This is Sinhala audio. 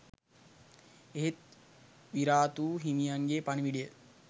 එහෙත් විරාතු හිමියන්ගේ පණිවිඩය